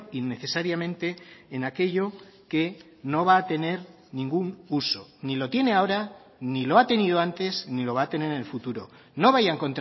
innecesariamente en aquello que no va a tener ningún uso ni lo tiene ahora ni lo ha tenido antes ni lo va a tener en el futuro no vayan